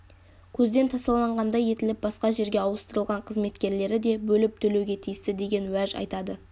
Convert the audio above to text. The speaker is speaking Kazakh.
көзден тасаланғандай етіліп басқа жерге ауыстырылған қызметкерлері де бөліп төлеуге тиісті деген уәж айтады